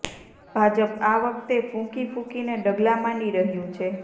ભાજપ આ વખતે ફૂંકી ફૂંકીને ડગલા માંડી રહ્યું છે